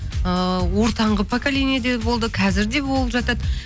ыыы ортаңғы поколениеде болды қазір де болып жатады